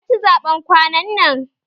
Waya ci zaɓen kwanan nan?